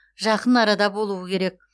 жақын арада болуы керек